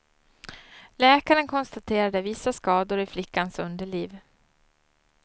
Läkaren konstaterade vissa skador i flickans underliv.